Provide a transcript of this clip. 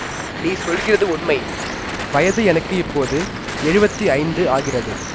நீ சொல்கிறது உண்மை வயது எனக்கு இப்போது எழுவத்தி ஐந்து ஆகிறது